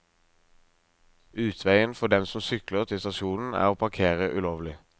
Utveien for dem som sykler til stasjonen er å parkere ulovlig.